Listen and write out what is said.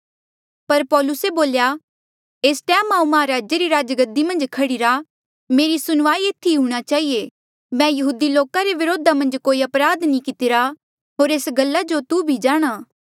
पर पौलुसे बोल्या एस टैम हांऊँ महाराजे री राजगद्दी मन्झ खड़ीरा मेरा सुनवाई एथी ई हूंणां चहिए मैं यहूदी लोका रे व्रोधा मन्झ कोई अपराध कितिरा होर एस गल्ला जो तू भी जाणहां